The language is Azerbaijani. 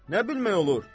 Nə bilmək olur?